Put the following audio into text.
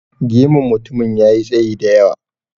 Gemun mutumin ya yi tsayi da yawa.